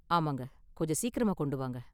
ஆமாங்க, கொஞ்சம் சீக்கிரமா கொண்டு வாங்க.